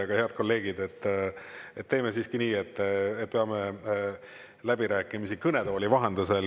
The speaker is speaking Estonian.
Aga, head kolleegid, teeme siiski nii, et peame läbirääkimisi kõnetooli vahendusel.